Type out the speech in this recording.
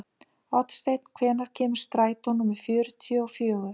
Oddsteinn, hvenær kemur strætó númer fjörutíu og fjögur?